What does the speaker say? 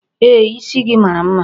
Ee, isi gị mara mma.